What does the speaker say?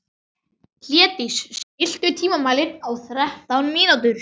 Hlédís, stilltu tímamælinn á þrettán mínútur.